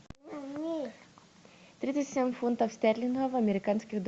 тридцать семь фунтов стерлингов в американских долларах